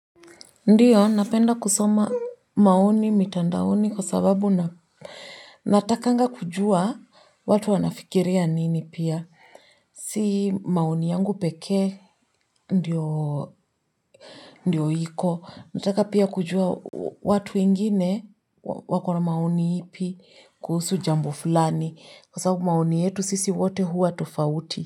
Ndiyo, napenda kusoma maoni mitandaoni kwa sababu na natakanga kujua watu wanafikiria nini pia. Si maoni yangu pekee, ndiyo ndiyo iko. Nataka pia kujua watu wengine wa wakona maoni ipi kuhusu jambo fulani. Kwa sababu maoni yetu sisi wote huwa tofauti.